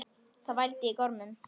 Það vældi í gormum.